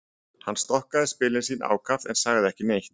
Hann stokkaði spilin sína ákaft en sagði ekki neitt.